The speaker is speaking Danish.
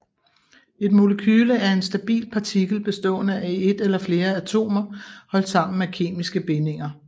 Et molekyle er en stabil partikel bestående af et eller flere atomer holdt sammen af kemiske bindinger